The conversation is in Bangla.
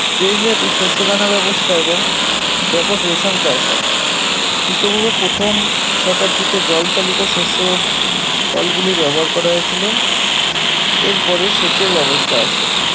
দেশব্যাপী শস্যদানা ব্যবস্থা এবং ব্যাপক রেশম চাষ হয় খ্রিস্টপূর্ব প্রথম শতাব্দীতে জল চালিত শস্য কলগুলি ব্যবহার করা হয়েছিল এর পরে সেচের ব্যবস্থা আসে